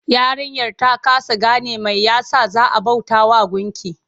Yarinyar ta kasa game mai ya sa za a bautawa gunki?